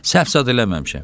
Səhv zad eləməmişəm.